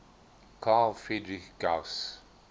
carl friedrich gauss